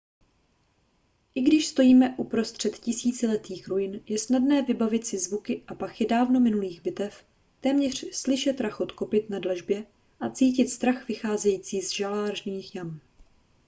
i když stojíme uprostřed tisíciletých ruin je snadné vybavit si zvuky a pachy dávno minulých bitev téměř slyšet rachot kopyt na dlažbě a cítit strach vycházející z žalářních jam